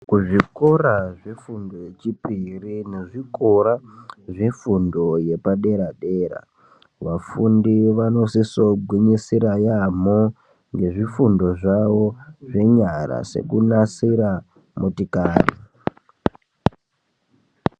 Kuzvikora zvefundo yechipiri nezvikora zvefundo yepadera -dera ,vafundi vanosisogwinyisira yaamho ngezvifundo zvawo zvenyara sekunasira motikari.